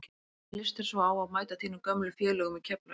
Hvernig lýst þér svo á að mæta þínum gömlu félögum í Keflavík?